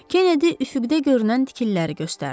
Kenedi üfüqdə görünən tikililəri göstərdi.